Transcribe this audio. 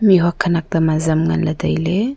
mih huak khanak tam azam ngan ley tailey.